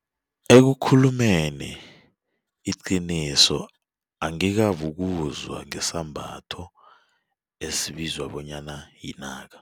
Ekukhulumeni iqiniso angikabi ukuzwa ngesambatho esibizwa bonyana yinaka.